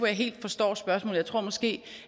jeg helt forstår spørgsmålet jeg tror måske